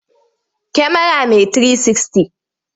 Kyamara mai 360.